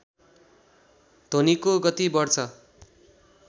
ध्वनिको गति बढ्छ